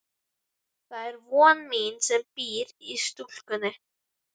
Það er von mín sem býr í stúlkunni.